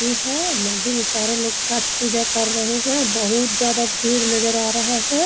नदी है। नदी में सारे लोग छठ पूजा कर रहें हैं। बहुत ज्यादा भीड़ नजर आ रहा है।